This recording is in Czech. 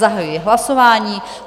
Zahajuji hlasování.